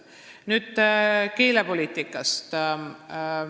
Nüüd keelepoliitikast.